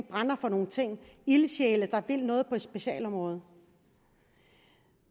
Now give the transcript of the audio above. brænder for nogle ting ildsjæle der noget på et specialområde